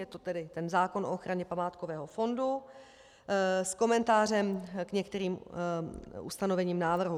Je to tedy ten zákon o ochraně památkového fondu s komentářem k některým ustanovením návrhu: